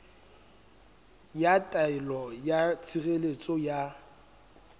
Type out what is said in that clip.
ya taelo ya tshireletso ya